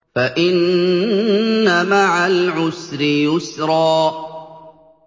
فَإِنَّ مَعَ الْعُسْرِ يُسْرًا